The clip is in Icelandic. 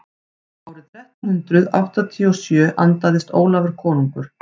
árið þrettán hundrað áttatíu og sjö andaðist ólafur konungur